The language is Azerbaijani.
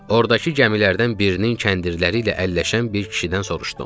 Ordakı gəmilərdən birinin kəndirləri ilə əlləşən bir kişidən soruşdum.